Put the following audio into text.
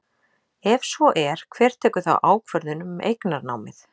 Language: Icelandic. Ef svo er, hver tekur þá ákvörðun um eignarnámið?